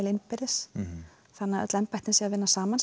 innbyrðis þannig að öll embætti vinni saman